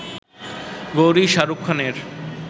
গৌরি-শাহরুখ খানের